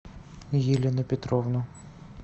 елену петровну